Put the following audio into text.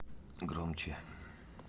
громче